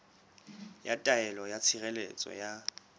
ya taelo ya tshireletso ya